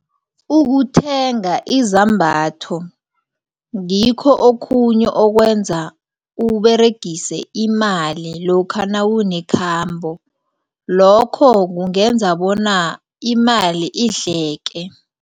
Ukuthenga izambatho ngikho okhunye okwenza uberegise imali lokha nawunekhamba lokho kungenza bona imali idleke.